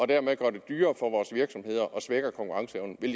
dermed gør det dyrere for vores virksomheder og svækker konkurrenceevnen vil